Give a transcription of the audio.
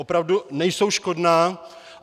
Opravdu nejsou škodná.